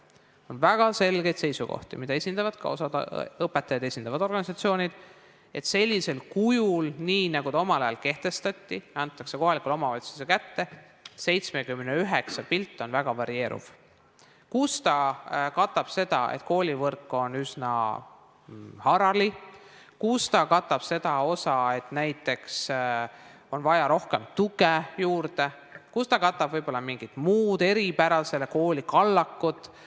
On väga selgeid seisukohti, mida esindavad ka osa õpetajaid esindavaid organisatsioone, et kui ta on sellisel kujul, nii nagu ta omal ajal kehtestati, et ta antakse kohaliku omavalitsuse kätte, siis 79 on pilt väga varieeruv: kus ta katab seda, et koolivõrk on üsna harali, kus ta katab seda, et näiteks on vaja rohkem tuge juurde, kus ta katab võib-olla mingit muud eripära, selle kooli kallakut.